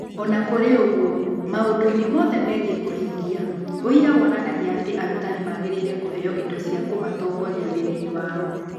O na kũrĩ ũguo, maũndũ-inĩ mothe megiĩ kũhingia, ũira wonanagia atĩ arutani magĩrĩire kũheo indo cia kũmatongoria wĩra-inĩ wao.